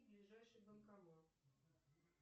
ближайший банкомат